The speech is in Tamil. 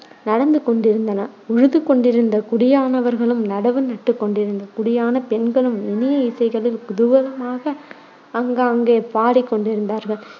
நடந்து கொண்டிருந்தன. உழுது கொண்டிருந்த குடியானவர்களும் நடவு நட்டுக் கொண்டிருந்த குடியானப் பெண்களும் இனிய இசைகளில் குதூகலமாக ஆங்காங்கே பாடிக் கொண்டிருந்தார்கள்.